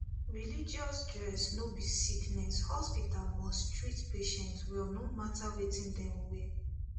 religious dress no be sickness hospital must treat patient well no matter wetin dem wear